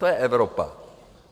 To je Evropa.